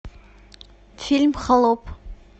фильм холоп